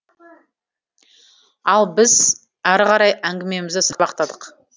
ал біз ары қарай әңгімемізді сабақтадық